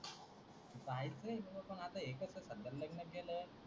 काहीच नाही तुझं पण आता एकत्र लग्न केलं